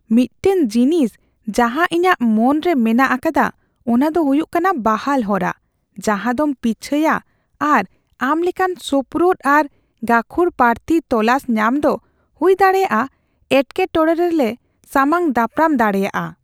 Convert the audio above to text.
ᱢᱤᱫᱴᱟᱝ ᱡᱤᱱᱤᱥ ᱡᱟᱦᱟᱸ ᱤᱧᱟᱹᱜ ᱢᱚᱱᱨᱮ ᱢᱮᱱᱟᱜ ᱟᱠᱟᱫᱟ ᱚᱱᱟ ᱫᱚ ᱦᱩᱭᱩᱜ ᱠᱟᱱᱟ ᱵᱟᱦᱟᱞ ᱦᱚᱨᱟ, ᱡᱟᱦᱟᱸᱫᱚᱢ ᱯᱤᱪᱷᱟᱹᱭᱟ ᱟᱨ ᱟᱢ ᱞᱮᱠᱟᱱ ᱥᱳᱯᱨᱳᱫ ᱟᱨ ᱜᱟᱠᱷᱩᱲ ᱯᱟᱨᱛᱷᱤ ᱛᱚᱞᱟᱥ ᱧᱟᱢ ᱫᱚ ᱦᱩᱭᱫᱟᱲᱮᱭᱟᱜᱼᱟ ᱮᱴᱠᱮᱴᱚᱬᱮ ᱨᱮᱞᱮ ᱥᱟᱢᱟᱝ ᱫᱟᱯᱨᱟᱢ ᱫᱟᱲᱮᱭᱟᱜᱼᱟ ᱾